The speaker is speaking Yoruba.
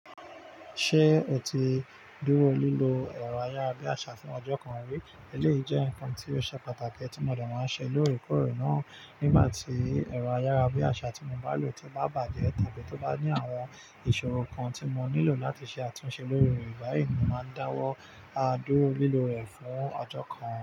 Ṣé o ti dúró lílo ẹ̀rọ ayára bí àṣà fún ọjọ́ kan rí? Èléyìí jẹ́ ǹkan tí ó ṣe pàtàkì tí mọ̀de maá n ṣe lórekore náà. Nígbà tí ẹ̀rọ ayára bí àṣà tí mo bá lò tí bá bàjẹ́ tàbí tó bá ní àwọn ìṣòro kan tí mo nílò láti ṣe àtúnṣe lórí rẹ̀ báyìí, mo máa dáwọ́ á dúró lílò rẹ̀ fún ọjọ́ kan.